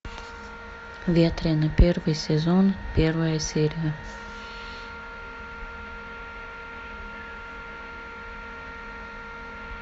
ветреный первый сезон первая серия